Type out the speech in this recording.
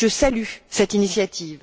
Je salue cette initiative.